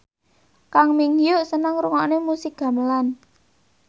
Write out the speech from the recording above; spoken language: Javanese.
Kang Min Hyuk seneng ngrungokne musik gamelan